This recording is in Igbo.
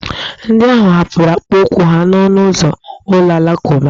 Ndị ahụ hapụrụ akpụkpọụkwụ ha n'ọnụ ụzọ ụlọ alakụba.